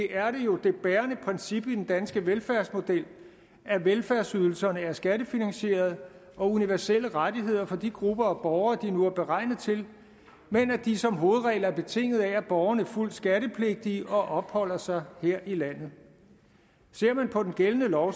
er det jo det bærende princip i den danske velfærdsmodel at velfærdsydelserne er skattefinansierede og universelle rettigheder for de grupper af borgere de nu er beregnet til men at de som hovedregel er betinget af at borgerne er fuldt skattepligtige og opholder sig her i landet ser man på den gældende lov